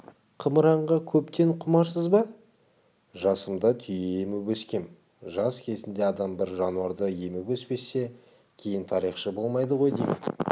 қымыранға көптен құмарсыз ба жасымда түйе еміп өскем жас кезінде адам бір жануарды еміп өспесе кейін тарихшы болмайды ғой деймін